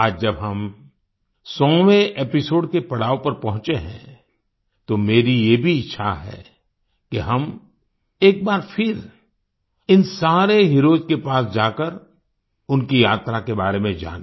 आज जब हम 100वें एपिसोड के पड़ाव पर पहुंचे हैं तो मेरी ये भी इच्छा है कि हम एक बार फिर इन सारे हीरोज के पास जाकर उनकी यात्रा के बारे में जानें